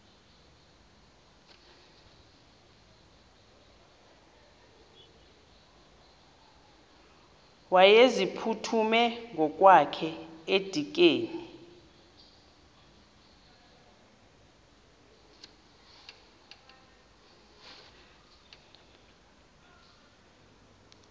wayeziphuthume ngokwakhe edikeni